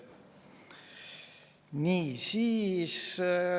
Nii.